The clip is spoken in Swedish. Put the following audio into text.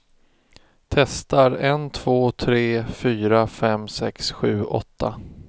Testar en två tre fyra fem sex sju åtta.